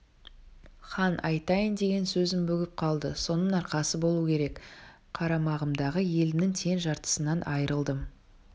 хан айтайын деген сөзін бүгіп қалды соның арқасы болуы керек қарамағымдағы елімнің тең жартысынан айрылдым